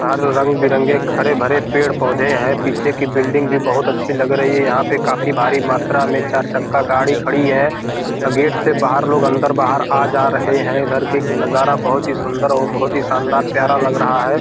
हर रंग-बिरंगे हरे-भरे पेड़-पौधे है पीछे की बिल्डिंग भी बहुत अच्छी लग रही है यहां पे काफी भारी मात्रा में चार चक्का गाड़ी खड़ी है अ गेट से बाहर लोग अंदर-बाहर आ-जा रहे है इधर की नजारा बहुत ही सुंदर और बहुत ही शानदार प्यारा लग रहा है।